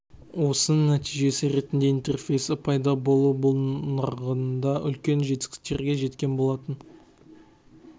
осының нәтижесі ретінде интерфейсі пайда болды бұл нарығында үлкен жетістіктерге жеткен болатын